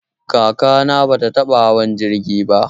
Kakana bai taɓa hawa jirgi ba.